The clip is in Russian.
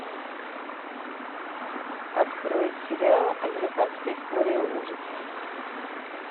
открой сериал американская история ужасов